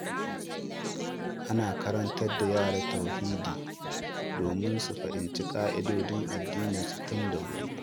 Ana karantar da yara Tauhidi domin su fahimci ka’idodin addininsu tun da wuri.